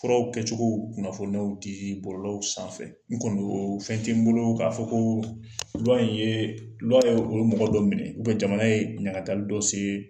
Furawɔ kɛcogow kunnafoniyaw di di bɔlɔlɔw sanfɛ n kɔni o fɛn tɛ n bolo k'a fɔ ko in o ye ye mɔgɔ dɔ minɛ jamana ye ɲangatali dɔ sigi.